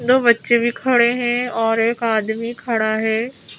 दो बच्चे भी खड़े हैं और एक आदमी खड़ा है।